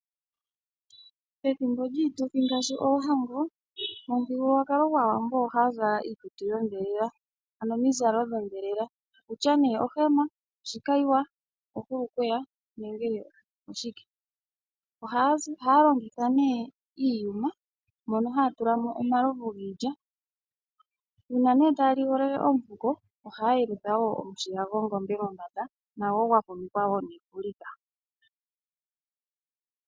Pethimbo lyiituthi ngaashi oohango pamuthigululwakalo gwaawambo oha zala iikutu yodhelela. Ano omizalo dhodhelela. Okutya nee ohema, ohulukweya oshikayiwa nenge oshike. Oha longitha nee iiyuma mono haya tulamo omalovu giilya. Una nee taya ligolele omufuko ohaa yelutha omushila gongombe mombanda nago gwa fumikwa wo nefulika.